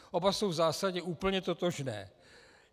Oba jsou v zásadě úplně totožné.